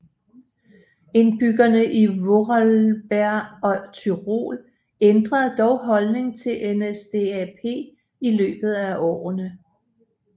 Indbyggerne i Vorarlberg og Tyrol ændrede dog holdning til NSDAP i løbet af årene